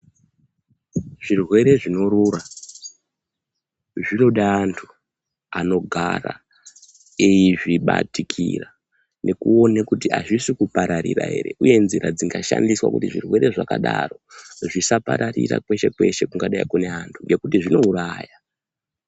Zvirwere zvinorura zvinoda anthu anogara eizvibatikira nekuone kuthi azvisi kupararira ere uye nzira dzingashandiswa kuthi zvirwere zvakadaro zvisapararira kweshekweshe kungadai kune anhu ngekuthi zvinouraya.